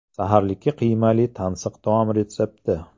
Saharlikka qiymali tansiq taom retsepti.